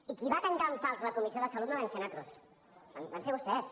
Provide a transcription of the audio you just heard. i qui va tancar en fals la comissió de salut no vam ser nosaltres van ser vostès